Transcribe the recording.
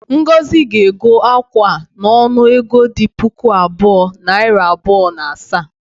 Ngozi ga-ego akwa a n’onu ego dị puku abụọ, nari abụọ na asaa